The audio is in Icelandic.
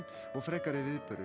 og frekari viðburðir